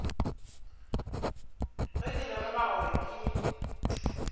ge ke lemoga gore ke